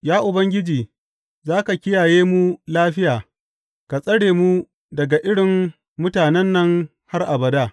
Ya Ubangiji, za ka kiyaye mu lafiya ka tsare mu daga irin mutanen nan har abada.